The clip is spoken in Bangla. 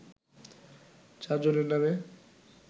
চারজনের নামে